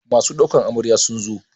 Masu ɗaukar Amarya sun zo?